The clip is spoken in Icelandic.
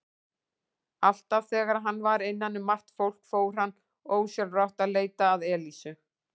Alltaf þegar hann var innan um margt fólk fór hann ósjálfrátt að leita að Elísu.